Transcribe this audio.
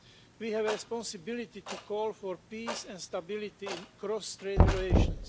We have a responsibility to call for peace and stability in cross trade relations.